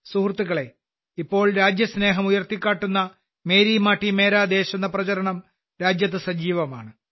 സുഹൃത്തുക്കളേ ഇപ്പോൾ രാജ്യസ്നേഹം ഉയർത്തിക്കാട്ടുന്ന മേരി മാട്ടി മേരാ ദേശ് എന്ന പ്രചാരണം രാജ്യത്ത് സജീവമാണ്